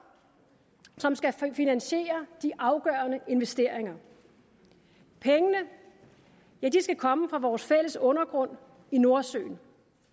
som skal finansiere de afgørende investeringer pengene skal komme fra vores fælles undergrund i nordsøen